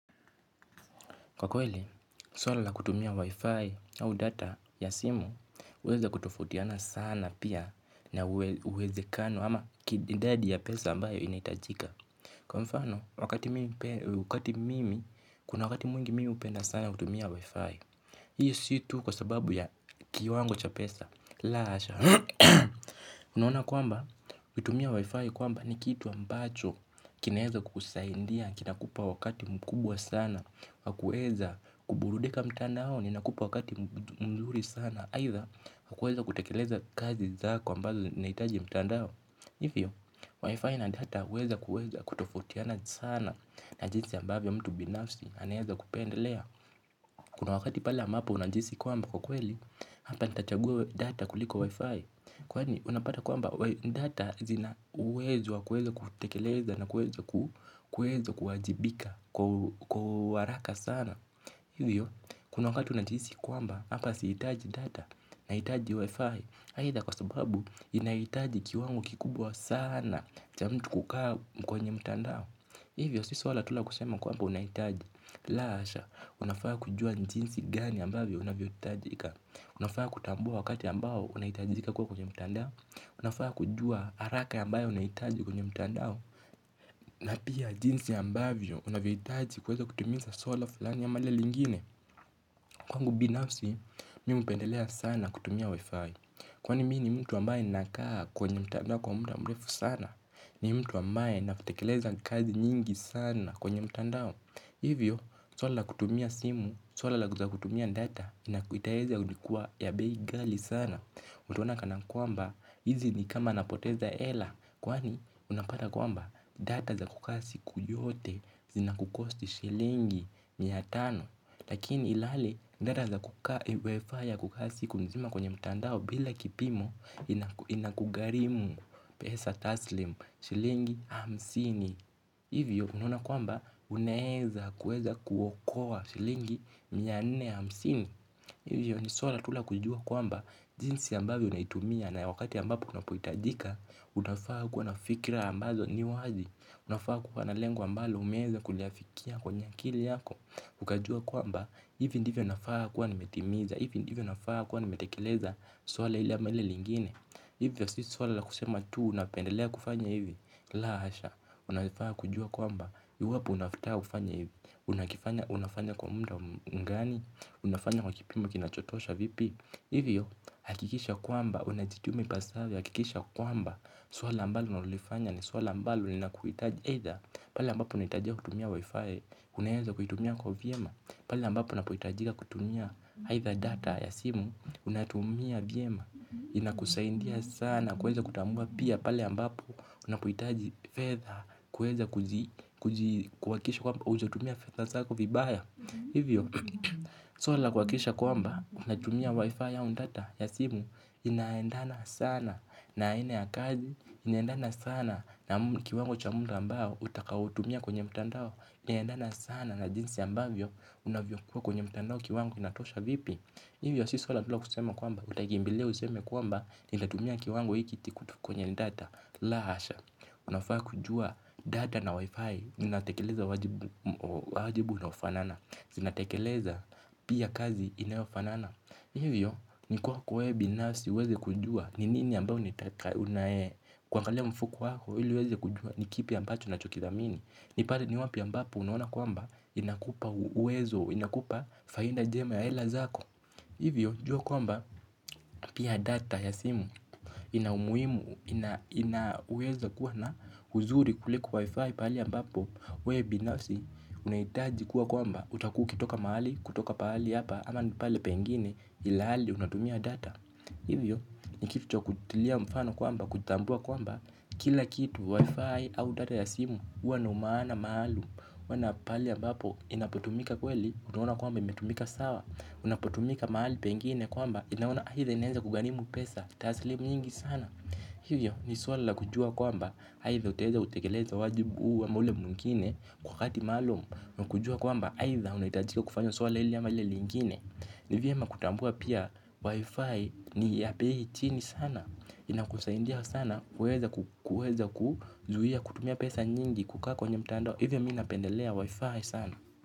Kwa kweli, swala la kutumia wifi au data ya simu huweza kutofautiana sana pia na uwezekano ama idadi ya pesa ambayo inahitajika. Kwa mfano, wakati mimi, kuna wakati mwingi mimi hupenda sana kutumia wifi. Hii si tu kwa sababu ya kiwango cha pesa. La hasha. Unaona kwamba, kutumia wi-fi kwamba ni kitu ambacho kinaweza kusaidia, kinakupa wakati mkubwa sana wa kuweza kuburudika mtandaoni, inakupa wakati mzuri sana. Aidha, wa kuweza kutekeleza kazi zako ambazo zinahitaji mtandao hivyo, wi-fi na data huweza kutofautiana sana na jinsi ambavyo mtu binafsi, anaweza kupendelea. Kuna wakati pale ambapo unajihisi kwamba kwa kweli, hapa nitachagua data kuliko wi-fi. Kwani unapata kwamba data zina uwezo wa kuweza kutekeleza na kuweza kuwajibika kwa haraka sana. Hivyo kuna wakati unajihisi kwamba hapa sihitaji data nahitaji Wi-Fi aidha kwa sababu inahitaji kiwango kikubwa sana cha mtu kukaa mkwenye mtandao. Hivyo sisi wala tu la kusema kwamba unahitaji. La hasha unafaa kujua ni jinsi gani ambavyo unavyohitajika. Unafaa kutambua wakati ambao unahitajika kuwa kwenye mtandao. Unafaa kujua haraka ambayo unahitaji kwenye mtandao. Na pia jinsi ambavyo unavyohitaji kuweza kutimiza swala fulani ama lile lingine. Kwangu binafsi, mimi hupendelea sana kutumia wi-fi. Kwani mimi ni mtu ambaye ninakaa kwenye mtandao kwa muda mrefu sana. Ni mtu ambaye ninapotekeleza kazi nyingi sana kwenye mtandao. Hivyo, swala la kutumia simu, swala la kuja kutumia data itaeza kuwa ya bei ghali sana. Mtaona kanakwamba hizi ni kama napoteza hela. Kwani unapata kwamba data za kukaa siku yote zina kucost shilingi mia tano. Lakini ilhali data za kukaa siku mzima kwenye mtandao bila kipimo inakugharimu pesa taslimu shilingi hamsini. Hivyo unaona kwamba unaweza kuweza kuokoa shilingi mia nne hamsini. Hivyo ni swala tu la kujua kwamba jinsi ambavyo unaitumia na wakati ambapo unapohitajika. Utafaa kuwa na fikra ambazo ni wazi. Unafaa kuwa na lengo ambalo umeweza kuliafikia kwenye akili yako. Ukajua kwamba hivi ndivyo nafaa kuwa nimetimiza. Hivi ndivyo nafaa kuwa nimetekeleza swala ili ama lile lingine. Hivyo si swala la kusema tu unapendelea kufanya hivyo. La hasha, unafaa kujua kwamba iwapo unataka kufanya hivo unafanya kwa muda mgani. Unafanya kwa kipimo kinachotosha vipi. Hivyo, hakikisha kwamba unajituma ipasavyo, hakikisha kwamba swala ambalo unalolifanya ni swala ambalo linakuhitaji Either pale ambapo unahitajika kutumia wifi. Unawenza kuitumia kwa vyema. Pale ambapo unapohitajika kutumia Either data ya simu. Unatumia vyema. Inakusaidia sana. Kuweza kutambua pia pale ambapo unapohitaji fedha kuweza kuji kuhakiisha kwamba hujatumia fedha zako vibaya hivyo swala la kuhakikisha kwamba unatumia wifi au data ya simu. Inaendana sana na aina ya kazi. Inaendana sana na kiwango cha muda ambao utakaotumia kwenye mtandao. Inaendana sana na jinsi ambavyo unavyokuwa kwenye mtandao kiwango kinatosha vipi hivyo si swala tu la kusema kwamba nimetumia kiwango hiki kwenye data la hasha unafaa kujua data na Wi-Fi zinatekeleza wajibu moja wajibu unaofanana. Zinatekeleza pia kazi inayofanana. Hivyo, ni kwako wewe binafsi uweze kujua. Ni nini ambao kuangalia mfuko wako ili uweze kujua ni kipi ambacho ninachokidhamini ipate ni hapo ambapo unaona ni kwamba inakupa uwezo, inakupa faida jema ya hela zako. Hivyo, jua kwamba pia data ya simu. Ina umuhimu, inaweza kuwa na uzuri kuliko wifi pahali ambapo wewe binafsi, unahitaji kuwa kwamba, hutakuwa ukitoka mahali, kutoka pahali hapa. Ama ni pale pengine, ilhali, unatumia data. Hivyo, ni kitu cha kutilia mfano kwamba, kutambua kwamba kila kitu wifi au data ya simu, huwa na umaana maalumu huwa na pahali ambapo, inapotumika kweli, unaona kwamba imetumika sawa. Unapotumika mahali pengine kwamba, inaona, aidha inaweza kugharimu pesa taslimu nyingi sana hivyo ni swala la kujua kwamba aidha utaweza kutekeleza wajibu huu ama ule mwingine kwa wakati maalumu na kujua kwamba aidha unahitajika kufanyo swala hili ama lile lingine ni vyema kutambua pia wifi ni ya bei chini sana inakusaidia sana kuweza kuzuia kutumia pesa nyingi kukaa kwenye mtandao hivyo mimi napendelea wifi sana.